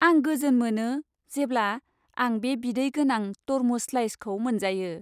आं गोजोन मोनो जेब्ला आं बे बिदै गोनां तरमुज स्लाइसखौ मोनजायो।